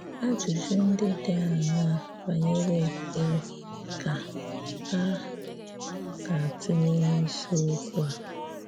Ajụ́jụ̀ ndị̀ dị aṅaà banyerè ekperé ka a ga-atụ̀lè n’isiokwù a?